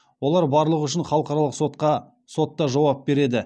олар барлығы үшін халықаралық сотта жауап береді